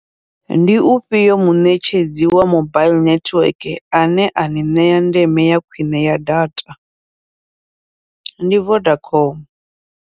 Ndi ufhio muṋetshedzi wa mobile nethiweke ane ani ṋea ndeme ya khwiṋe ya data, ndi Vodacom.